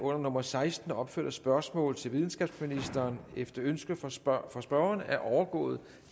under nummer seksten opførte spørgsmål til videnskabsministeren efter ønske fra spørgeren fra spørgeren er overgået